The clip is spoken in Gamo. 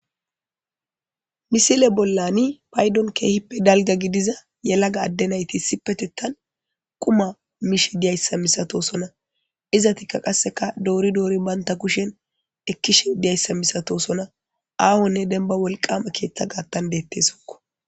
Misile bollani paydon keehippe dalga gidiza yelaga adde nayti sipetettan quma mishe diyayssa misatosona izatikka qasseka doori doori banta kushen ekkishe diyayssa misato sona aahonne denba wolqama keetta gaattan deettesokko.